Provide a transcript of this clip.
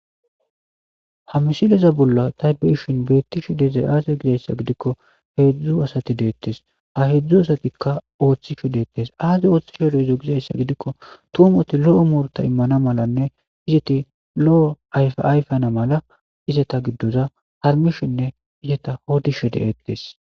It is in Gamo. ha misileza bolla ta biishin beetti she dizay aaze gizayssa gidikko heedzdzu asati deettes a hedzdzu asatikka ooththi she deettes aazi ooththishe de izo gizayssa gidikko tumoti lo7o murta immana malanne izeti lo7o ayfayfana mala izeta giddoza harmishinne izeta hodishe deettes.